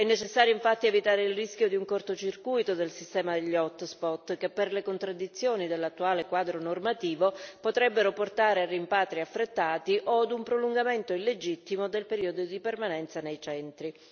È necessario, infatti, evitare il rischio di un corto circuito del sistema degli hot spot che, per le contraddizioni dell'attuale quadro normativo, potrebbero portare a rimpatri affrettati o a un prolungamento illegittimo del periodo di permanenza nei centri.